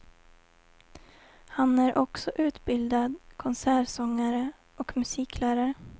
Han är också utbildad konsertsångare och musiklärare.